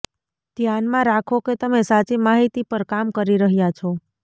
ધ્યાનમાં રાખો કે તમે સાચી માહિતી પર કામ કરી રહ્યા છો